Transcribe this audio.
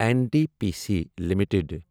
N T P C limited